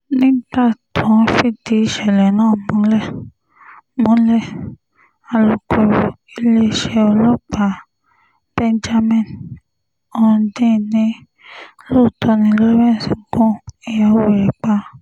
nígbà tó ń fìdí ìṣẹ̀lẹ̀ náà múlẹ̀ múlẹ̀ alūkkóró iléeṣẹ́ ọlọ́pàá benjamin hondyin ni lóòótọ́ ni lawrence gun ìyàwó rẹ̀ pa